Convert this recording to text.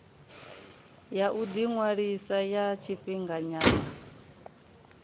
ya u ḓiṅwalisa ya tshifhinganyana